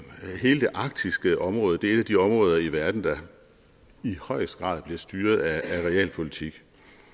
arktiske område er jo et af de områder i verden der i højeste grad bliver styret af realpolitik